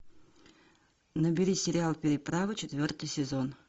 набери сериал переправа четвертый сезон